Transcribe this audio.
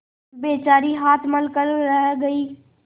बेचारी हाथ मल कर रह गयी